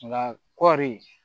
Nka kɔɔri